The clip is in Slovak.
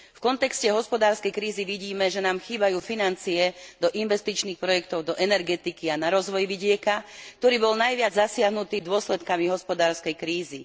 V kontexte hospodárskej krízy vidíme, že nám chýbajú financie do investičných projektov do energetiky a na rozvoj vidieka, ktorý bol najviac zasiahnutý dôsledkami hospodárskej krízy.